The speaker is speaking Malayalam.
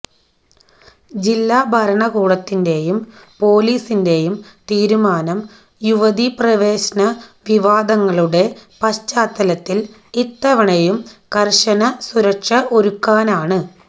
ജില്ലാ ഭരണകൂടത്തിന്റെയും പോലീസിന്റെയും തീരുമാനം യുവതീപ്രവേശന വിവാദങ്ങളുടെ പശ്ചാത്തലത്തില് ഇത്തവണയും കര്ശന സുരക്ഷ ഒരുക്കാനാണ്